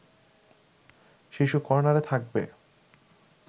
শিশুকর্ণারে থাকবে